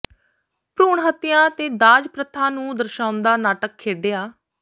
ਭਰੂਣ ਹੱਤਿਆ ਤੇ ਦਾਜ ਪ੍ਰਥਾ ਨੂੰ ਦਰਸਾੳਾੁਦਾ ਨਾਟਕ ਖੇਡਿਆ